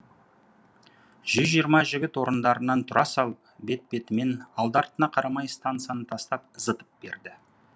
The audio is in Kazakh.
жүз жиырма жігіт орындарынан тұра салып бет бетімен алды артына қарамай стансаны тастап зытып берді